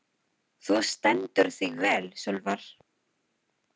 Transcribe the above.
Þú stendur þig vel, Sölvar!